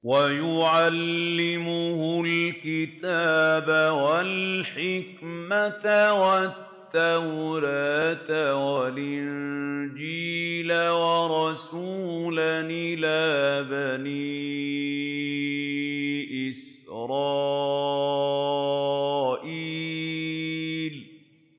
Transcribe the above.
وَيُعَلِّمُهُ الْكِتَابَ وَالْحِكْمَةَ وَالتَّوْرَاةَ وَالْإِنجِيلَ